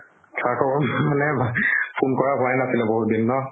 সা খবৰ মানে ভাল। phone কৰা হোৱাই নাছিল বহুত দিন ন।